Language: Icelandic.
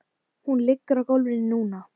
Hún liggur á gólfinu núna.